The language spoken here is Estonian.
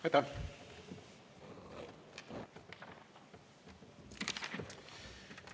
Aitäh!